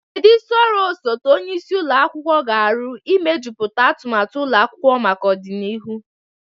Kedu isi ọrụ osote onye isi ụlọ akwụkwọ ga-arụ n'imejuputa atụmatụ ụlọ akwụkwọ maka ọdịnihu?